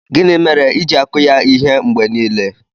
Gị mere ịji-akụ ya ihe mgbe niile?